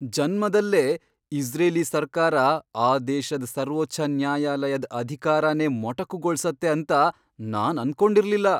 ಜನ್ಮದಲ್ಲೇ Israeli ಸರ್ಕಾರ ಆ ದೇಶದ್ ಸರ್ವೋಚ್ಚ ನ್ಯಾಯಾಲಯದ್ ಅಧಿಕಾರನೇ ಮೊಟಕುಗೊಳ್ಸತ್ತೆ ಅಂತ ನಾನ್ ಅನ್ಕೊಂಡಿರ್ಲಿಲ್ಲ.